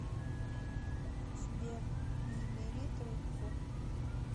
сбер не бери трубку